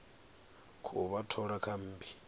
khou vha thola kha mmbi